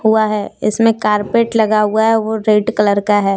हुआ है इसमें कारपेट लगा हुआ है वो रेड कलर का है।